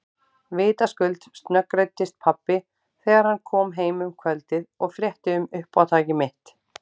Vitaskuld snöggreiddist pabbi þegar hann kom heim um kvöldið og frétti um uppátæki mitt.